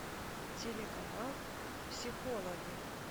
телеканал психологи